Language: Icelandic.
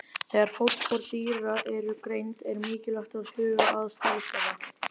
Þegar fótspor dýra eru greind er mikilvægt að huga að stærð þeirra.